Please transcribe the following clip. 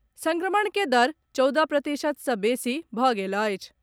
संक्रमण के दर चौदह प्रतिशत सँ बेसी भऽ गेल अछि।